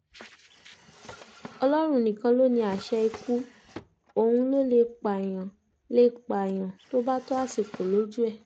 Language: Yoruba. ọlọ́run nìkan ló ní àṣẹ ikú òun ló lè pààyàn lè pààyàn tó bá tó àsìkò lójú ẹ̀